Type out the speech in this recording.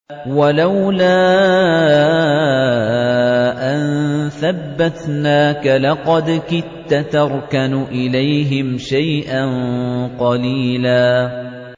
وَلَوْلَا أَن ثَبَّتْنَاكَ لَقَدْ كِدتَّ تَرْكَنُ إِلَيْهِمْ شَيْئًا قَلِيلًا